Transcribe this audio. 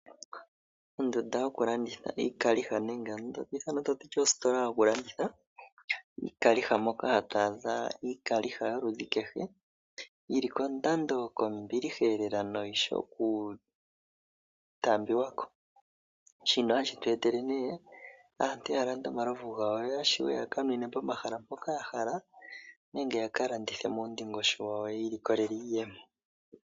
Ondunda yokulanditha iikaliha nenge yi ithanwe kutya ositola yokulanditha iikaliha moka hatu adha iikaliha yoludhi kehe yi li kondando kombiliha noyi shi okutaambiwa ko. Shino ohashi tu etele aantu ya lande omalovu gawo yo ya shiweya ka ninwe pomahala mpoka ya hala nenge ya ka landithe muundingosho wawo yo yi ilikolele iiyemo.